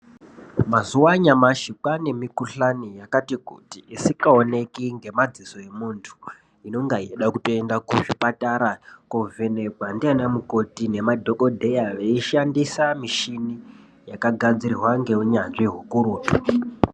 Mazuva anyamashi kwaane mikhuhlane yakati kuti isikaoneki ngemadziso emuntu, inonga yeitoda kuenda kuzvipatara kovhenekwa ndiana mukoti nemadhogodheya veishandisa mishini yakagadzirwa ngeunyanzvi hukurutu.